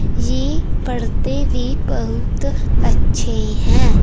ये पढ़ते भी बहुत अच्छे हैं।